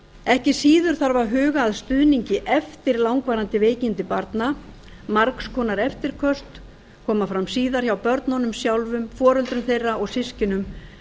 ekki síður þarf að huga að stuðningi eftir langvarandi veikindi barna margs konar eftirköst koma fram síðar hjá börnunum sjálfum foreldrum þeirra á systkinum